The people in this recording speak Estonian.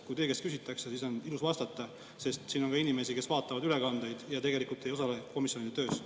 Kui teie käest küsitakse, siis on ilus vastata, sest siin on ka inimesi, kes vaatavad ülekandeid ja tegelikult ei osale komisjoni töös.